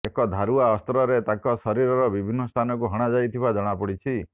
ଏକ ଧାରୁଆ ଅସ୍ତ୍ରରେ ତାଙ୍କ ଶରୀରର ବିଭିନ୍ନ ସ୍ଥାନକୁ ହଣାଯାଇଥିବା ଜଣାପଡିଛି